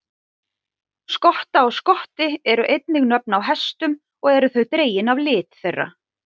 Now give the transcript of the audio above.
Skotta og Skotti eru einnig nöfn á hestum og eru þau dregin af lit þeirra.